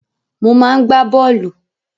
Mo máa ń gbá bọ́ọ̀lù.